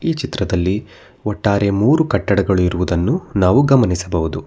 ಈ ಚಿತ್ರದಲ್ಲಿ ಒಟ್ಟಾರೆ ಮೂರು ಕಟ್ಟಡಗಳು ಇರುವುದನ್ನು ನಾವು ಗಮನಿಸಬಹುದು.